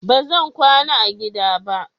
Ba zan kwana a gida ba.